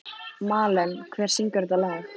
Malen, hver syngur þetta lag?